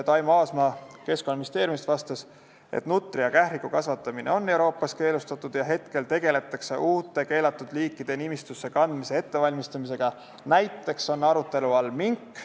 Taimo Aasma Keskkonnaministeeriumist vastas, et nutria ja kähriku kasvatamine on Euroopas keelustatud ja praegu tegeldakse uute keelatud liikide nimistusse kandmise ettevalmistamisega, näiteks on arutelu all mink.